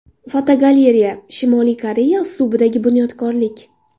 Fotogalereya: Shimoliy Koreya uslubidagi bunyodkorlik.